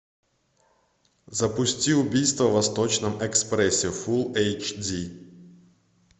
запусти убийство в восточном экспрессе фулл эйч ди